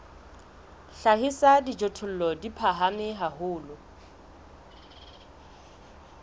hlahisa dijothollo di phahame haholo